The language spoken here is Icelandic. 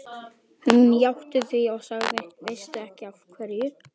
Hún játti því og sagði: Veistu ekki af hverju?